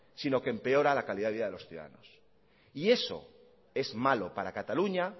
sino que empeora la calidad de vida de los ciudadanos y eso es malo para cataluña